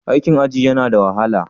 Aikin aji yana da wahala?